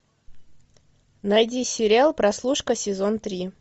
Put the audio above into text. найди сериал прослушка сезон три